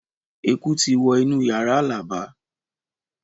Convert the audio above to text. Eku ti wọ inú yàrá Alaba